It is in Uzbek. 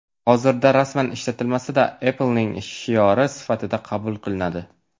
Hozirda rasman ishlatilmasa-da, Apple’ning shiori sifatida qabul qilinadi.